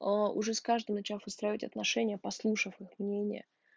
аа уже с каждым начав выстраивать отношения послушав их мнения